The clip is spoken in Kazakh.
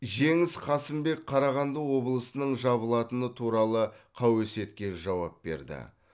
жеңіс қасымбек қарағанды облысының жабылатыны туралы қауесетке жауап берді